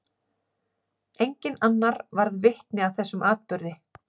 Enginn annar varð vitni að þessum atburði.